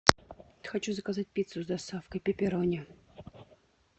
хочу заказать пиццу с доставкой пепперони